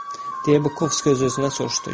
Deyə Bukovski öz-özünə soruşdu.